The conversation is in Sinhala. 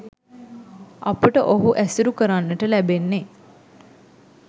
අපට ඔහු ඇසුරු කරන්නට ලැබෙන්නෙ